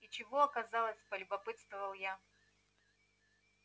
и чего оказалось полюбопытствовала я